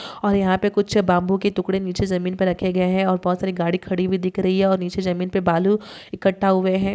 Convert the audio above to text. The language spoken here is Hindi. और यहाँ पे कुछ बाम्बू के टुकड़े नीचे ज़मीन पर रखे गये हैं और बहुत सारी गाड़ी खड़ी हुई दिख रही है और नीचे जमीन पे बालू इकट्ठा हुए हैं।